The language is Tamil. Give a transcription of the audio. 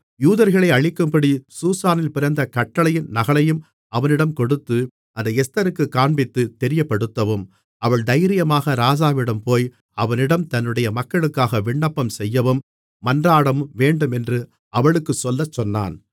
யூதர்களை அழிக்கும்படி சூசானில் பிறந்த கட்டளையின் நகலையும் அவனிடம் கொடுத்து அதை எஸ்தருக்குக் காண்பித்துத் தெரியப்படுத்தவும் அவள் தைரியமாக ராஜாவிடம் போய் அவனிடம் தன்னுடைய மக்களுக்காக விண்ணப்பம்செய்யவும் மன்றாடவும் வேண்டுமென்று அவளுக்குச் சொல்லச்சொன்னான்